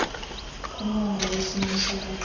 kumongo wesimo sabaqeshwa